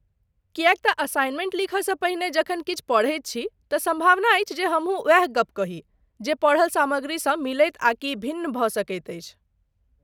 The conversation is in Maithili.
किएक तँ असाइनमेंट लिखय सँ पहिने जखन किछु पढ़ैत छी, तँ सम्भावना अछि जे हमहु ओएह गप्प कही ,जे पढ़ल सामग्रीसँ मिलैत आकि भिन्न भऽ सकैत अछि।